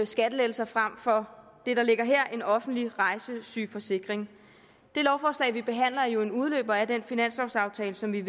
skattelettelser frem for det der ligger her nemlig en offentlig rejsesygeforsikring det lovforslag vi behandler er jo en udløber af den finanslovsaftale som vi